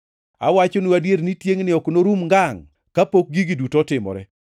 Awachonu adier ni tiengʼni ok norum ngangʼ kapok gigi duto otimore.